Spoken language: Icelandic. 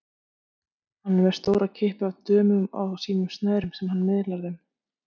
Hann er með stóra kippu af dömum á sínum snærum sem hann miðlar þeim.